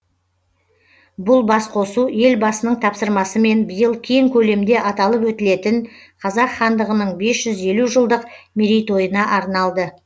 бұл басқосу елбасының тапсырмасымен биыл кең көлемде аталып өтілетін қазақ хандығының бес жүз елу жылдық мерейтойына арналды